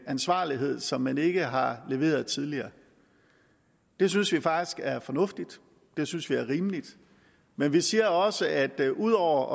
ansvarlighed som man ikke har leveret tidligere det synes vi faktisk er fornuftigt det synes vi er rimeligt men vi siger også at ud over